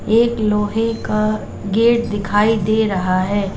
एक लोहे का गेट दिखाई दे रहा है।